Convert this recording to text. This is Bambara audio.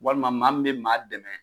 Walima maa bɛ maa dɛmɛ